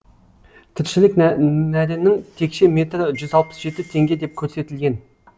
тіршілік нәрінің текше метрі жүз алпыс жеті теңге деп көрсетілген